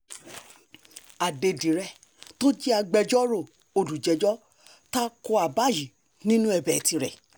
adédìrẹ̀ tó jẹ́ agbẹjọ́rò olùjẹ́jọ́ ta ko àbá yìí nínú ẹ̀bẹ̀ tirẹ̀